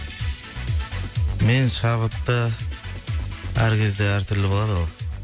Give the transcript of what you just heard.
мен шабытты әр кезде әр түрлі болады ғой